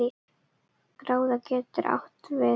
Gráða getur átt við